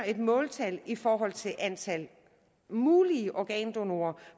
et måltal i forhold til antal mulige organdonorer